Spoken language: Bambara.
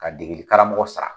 Ka degeli karamɔgɔ sara